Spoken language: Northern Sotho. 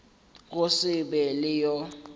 go se be le yo